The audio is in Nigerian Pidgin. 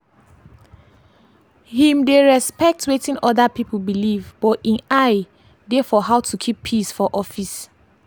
him dey respect watin other people believe but him eye dey for how to keep peace for office.